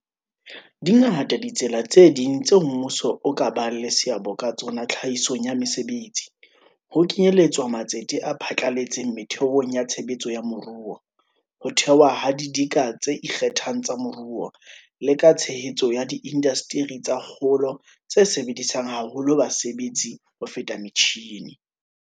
Dingata ditsela tse ding tseo mmuso o ka bang le seabo ka tsona tlhahisong ya mesebetsi, ho kenyeletswa matsete a phatlaletseng metheong ya tshebetso ya moruo, ho thewa ha didika tse ikgethang tsa moruo, le ka tshehetso ya diindasteri tsa kgolo tse sebedisang haholo basebetsi ho feta metjhine.